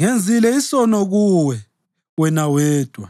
Ngenzile isono kuwe, wena wedwa,